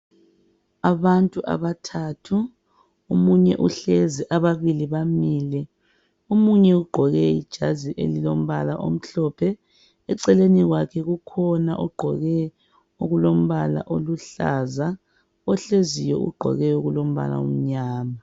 Abantu abathathu, omunye uhlezi ababili bamile. Omunye ugqoke ijazi elilombala omhlophe eceleni kwakhe kukhona ogqoke okulombala oluhlaza. Ohleziyo ugqoke okulombala omnyama.